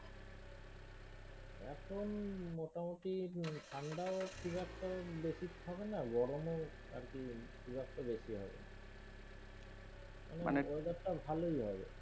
এখন মোটামুটি ঠাণ্ডা ও খুব একটা বেশি থাকেনা, গরমেও আর কি খুব একটা বেশি হবেনা। মানে weather টা ভালই হবে।